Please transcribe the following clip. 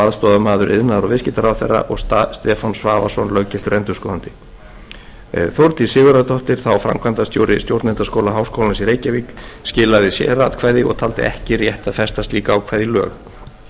aðstoðarmaður iðnaðar og viðskiptaráðherra og stefán svavarsson löggiltur endurskoðandi þórdís sigurðardóttir framkvæmdastjóri stjórnendaskóla háskólans í reykjavík skilaði sératkvæði og taldi ekki rétt að festa slíkt ákvæði í lög ég tel þó